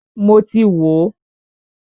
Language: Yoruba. Mọ ti wò ó.